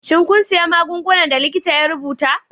Shin kun sayi magungunan da likita ya rubuta?